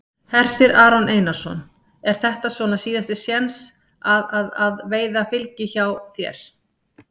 Hersir Aron Einarsson: Er þetta svona síðasti séns að að að veiða fylgi hjá þér?